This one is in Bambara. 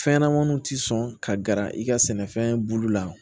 Fɛnɲɛnɛmaniw tɛ sɔn ka gɛrɛ i ka sɛnɛfɛn bulu la